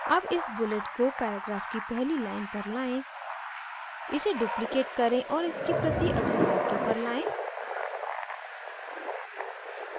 अब इस bullet को paragraph की पहली line पर लाएं इसे duplicate करें और इसकी प्रति अगले वाक्य पर लाएं